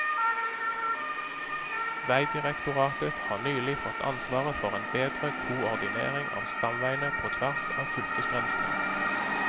Vegdirektoratet har nylig fått ansvaret for en bedre koordinering av stamveiene på tvers av fylkesgrensene.